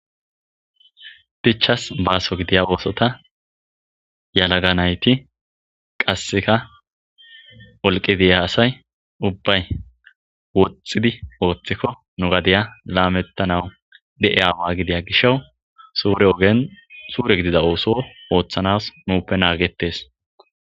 dichas baaso gidiya oosota yalaganayti qasseka olqidiya asay ubbay woxxidi ooththikko nu gadeya laamettanawu de7e aawa gidiya gisha suure ogen suure gidida ooso ooththanas nuuppe naagetes